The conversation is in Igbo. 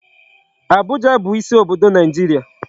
Abuja bụ isi obodo Naịjirịa.